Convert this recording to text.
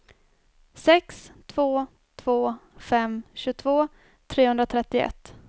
sex två två fem tjugotvå trehundratrettioett